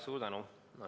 Suur tänu!